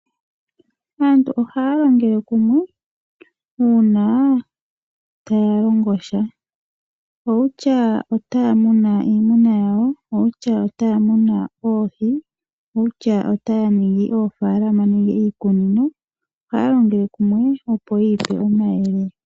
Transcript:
Aantu ohaya longele kumwe uuna taya longo sha. Kutya nduno otaya munu iimuna yawo nenge taya munu oohi nenge taya ningi oofaalama nenge iikunino. Ohaya longele kumwe, opo yi ipe omayele.